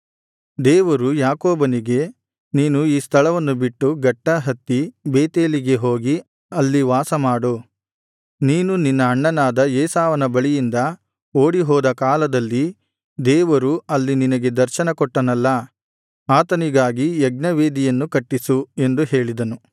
ದೇವರು ಯಾಕೋಬನಿಗೆ ನೀನು ಈ ಸ್ಥಳವನ್ನು ಬಿಟ್ಟು ಗಟ್ಟಾ ಹತ್ತಿ ಬೇತೇಲಿಗೆ ಹೋಗಿ ಅಲ್ಲಿ ವಾಸಮಾಡು ನೀನು ನಿನ್ನ ಅಣ್ಣನಾದ ಏಸಾವನ ಬಳಿಯಿಂದ ಓಡಿ ಹೋದ ಕಾಲದಲ್ಲಿ ದೇವರು ಅಲ್ಲಿ ನಿನಗೆ ದರ್ಶನಕೊಟ್ಟನಲ್ಲಾ ಆತನಿಗಾಗಿ ಯಜ್ಞವೇದಿಯನ್ನು ಕಟ್ಟಿಸು ಎಂದು ಹೇಳಿದನು